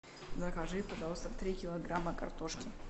закажи пожалуйста три килограмма картошки